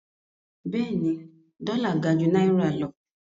Bẹ́ẹ̀ni, dọ́là gà jú náírà lọ.